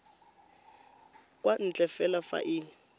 kwa ntle fela fa e